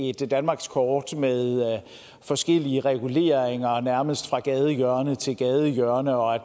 et danmarkskort med forskellige reguleringer nærmest fra gadehjørne til gadehjørne og at